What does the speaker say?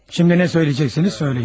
Şimdi nə söyləyəcəksiniz, söyləyin.